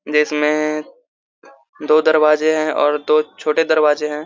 जे इसमें दो दरवाज़े है और दो छोटे दरवाज़े है।